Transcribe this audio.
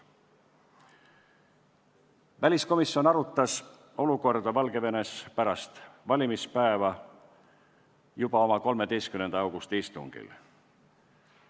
Väliskomisjon arutas Valgevene olukorda pärast valimispäeva, juba oma 13. augusti istungil.